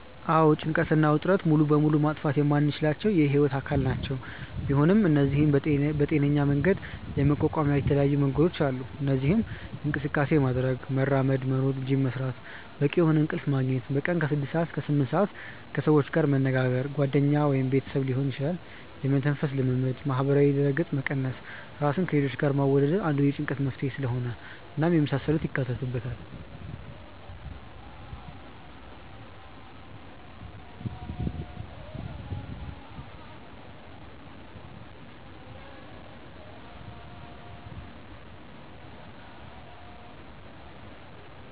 አዎ ጭንቀት እና ውጥረት ሙሉ በሙሉ ማጥፋት የማንችላቸው የህይወት አካል ናቸው፤ ቢሆን እነዚህን በጤናሜ መንገድ የመቋቋሚያ የተለያዩ መንገዶች አሉ። እነዚህም እንቅስቃሴ ማድረግ( መራመድ፣ መሮጥ፣ ጂም መስራት)፣ በቂ የሆነ እንቅልፍ መግኘት( በቀን ከ6-8ሰአት)፣ ከሰዎች ጋር መነጋገር( ጓደኛ ወይም ቤተሰብ ሊሆን ይችላል)፣ የመተንፈስ ልምምድ፣ ማህበራዊ ድረገጽ መቀነስ( ራስን ከሌሎች ጋር ማወዳደር አንዱ የጭንቀት መንስኤ ስለሆነ) እናም የመሳሰሉትን ያካትታል።